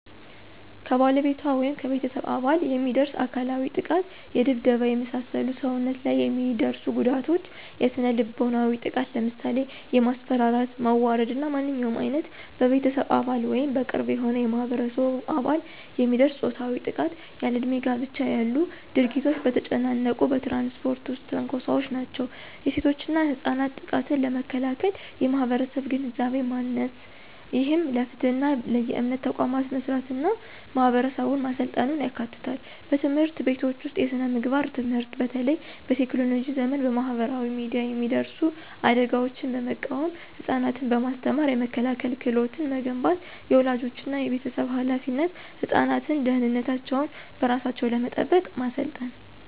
ከባለቤቷ ወይም ከቤተሰብ አባል የሚደርስ አካላዊ ጥቃት የድብደባ፣ የመሳሰሉ ሰውነት ላይ የሚደርሱ ጉዳቶች። የስነ-ልቦናዊ ጥቃት ለምሳሌ የማስፈራራት፣ ማዋረድ እና ማንኛውም ዓይነት በቤተሰብ አባል ወይም በቅርብ የሆነ የማህበረሰብ አባል የሚደርስ ፆታዊ ጥቃት። ያለእድሜ ጋብቻ ያሉ ድርጊቶች። በተጨናነቁ በትራንስፖርት ውስጥ ትንኮሳዎች ናቸው። የሴቶችና ህጻናት ጥቃትን ለመከላከል የማህበረሰብ ግንዛቤ ማሰስ፣ ይህም ለፍትህና ለየእምነት ተቋማት መስራትና ማህበረሰቡን ማሰልጠን ያካትታል። በትምህርት ቤቶች ውስጥ የስነ-ምግባር ትምህርት በተለይ በቴክኖሎጂ ዘመን በማህበራዊ ሚዲያ የሚደርሱ አደጋዎችን በመቃወም ህፃናትን በማስተማር የመከላከያ ክህሎት መገንባት። · የወላጆችና የቤተሰብ ኃላፊነት ህፃናትን ደህንነታቸውን በራሳቸው ለመጠበቅ ማሰልጠን።